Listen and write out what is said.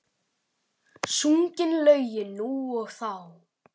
Sungin lögin nú og þá.